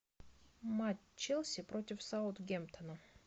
матч челси против саутгемптона